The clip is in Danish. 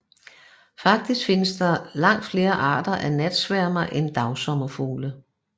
Faktisk findes der langt flere arter af natsværmere end dagsommerfugle